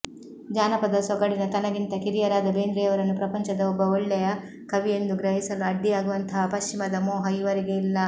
ಜಾನಪದ ಸೊಗಡಿನ ತನಗಿಂತ ಕಿರಿಯರಾದ ಬೇಂದ್ರೆಯವರನ್ನು ಪ್ರಪಂಚದ ಒಬ್ಬ ಒಳ್ಳೆಯ ಕವಿಯೆಂದು ಗ್ರಹಿಸಲು ಅಡ್ಡಿಯಾಗುವಂತಹ ಪಶ್ಚಿಮದ ಮೋಹ ಇವರಿಗೆ ಇಲ್ಲ